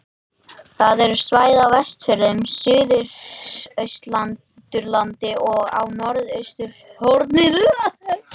Það eru svæði á Vestfjörðum, Suðausturlandi og á norðausturhorninu.